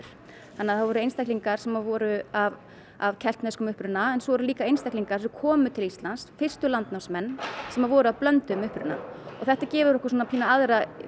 þannig að það voru einstaklingar sem voru af af keltneskum uppruna en svo voru líka einstaklingar sem komu til Íslands fyrstu landnámsmenn sem voru af blönduðum uppruna og þetta gefur okkur pínu aðra